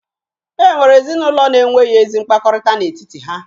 E nwere ezinụlọ na-enweghi ezi mkpakọrịta n'etiti ha